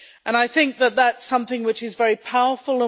I think that is something which is very powerful.